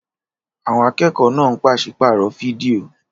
Àwọn akẹ́kọ̀ọ́ náà ń pàṣípààrọ̀ fídíò.